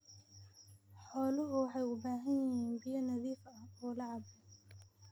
Xooluhu waxay u baahan yihiin biyo nadiif ah oo la cabbo.